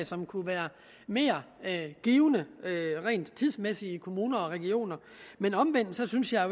som kunne være mere givende rent tidsmæssigt i kommuner og regioner men omvendt synes jeg